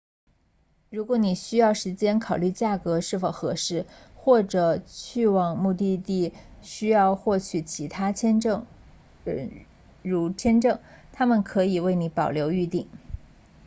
如果你需要时间考虑价格是否合适或者去往目的地需要获取其他证件如签证他们可以为你保留预订